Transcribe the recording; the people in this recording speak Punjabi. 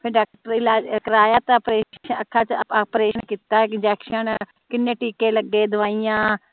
ਫੇਰ ਡਾਕਟਰੀ ਇਲਾਜ ਕੀਨੇ ਟਿਕੇ ਲਗੇ ਦਵਾਈਆਂ